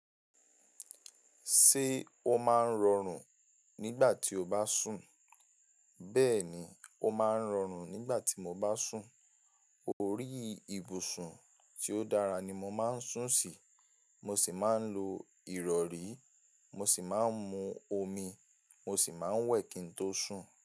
Ṣé o máa ń rọrùn nígbà tí o bá sùn? Bẹ́ẹ̀ni, ó máa ń rọrùn nígbà tí mo bá sùn. Orí ìbùsùn tí ó dára ni mo máa ń sùn sí. Mo sì máa ń lo ìrọ̀rí. Mo sì máa ń mu omi. Mo sì máa ń wẹ̀ kí n tó sùn.